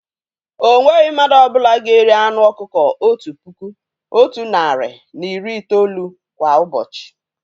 O nweghị mmadụ ọ bụla ga-eri anụ ọkụkọ otu puku, otu narị na iri itoolu kwá ụbọchị